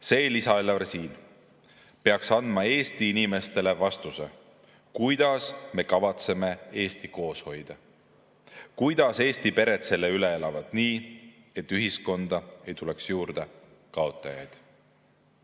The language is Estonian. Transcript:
See lisaeelarve siin peaks andma Eesti inimestele vastuse, kuidas me kavatseme Eestit koos hoida, kuidas Eesti pered selle üle elavad nii, et ühiskonda ei tuleks juurde kaotajaid.